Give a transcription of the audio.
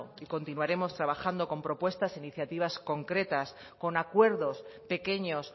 y continuaremos trabajando con propuestas e iniciativas concretas con acuerdos pequeños